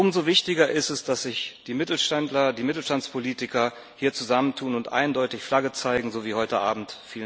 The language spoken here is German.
Umso wichtiger ist es, dass sich die Mittelständler, die Mittelstandspolitiker, hier zusammentun und eindeutig Flagge zeigen, so wie heute Abend.